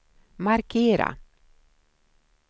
markera